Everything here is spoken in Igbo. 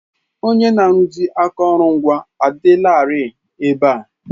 Onye na-arụzi akụrụngwa adịlarị ebe a.